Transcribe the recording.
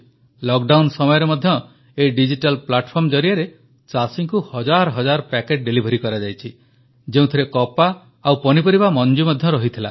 lockdown ସମୟରେ ମଧ୍ୟ ଏହି ଡିଜିଟାଲ ପ୍ଲାଟଫର୍ମ ଜରିଆରେ ଚାଷୀଙ୍କୁ ହଜାର ହଜାର ପକେଟ୍ ଡିଲିଭରି କରାଯାଇଛି ଯେଉଁଥିରେ କପା ଓ ପନିପରିବା ମଞ୍ଜି ମଧ୍ୟ ଥିଲା